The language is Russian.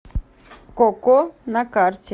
ко ко на карте